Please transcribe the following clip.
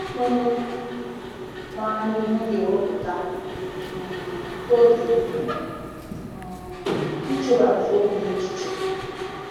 Onye maara ihe na-ewepụta um oge um ‘icheba nzọụkwụ ya echiche. '